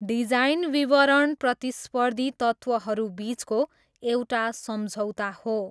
Design विवरण प्रतिस्पर्धी तत्त्वहरूबिचको एउटा सम्झौता हो।